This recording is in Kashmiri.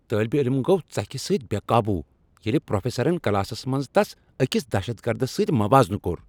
طالب علم گو ژکھِ سۭتۍ بے قابو ییلِہ پروفیسرن کلاسس منٛز تس أکس دہشت گردس سۭتۍ موازنہ کوٚر۔